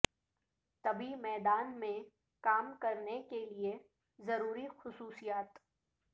طبی میدان میں کام کرنے کے لئے ضروری خصوصیات